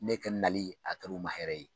Ne ka nali a kɛr'u ma hɛrɛ ye